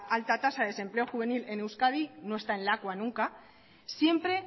alta tasa del desempleo juvenil en euskadi no está en lakua nunca siempre